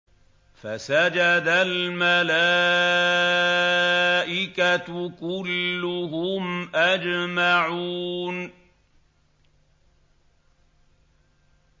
فَسَجَدَ الْمَلَائِكَةُ كُلُّهُمْ أَجْمَعُونَ